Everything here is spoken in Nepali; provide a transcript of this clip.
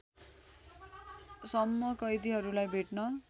सम्म कैदीहरूलाई भेट्न